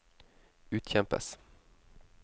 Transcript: utkjempes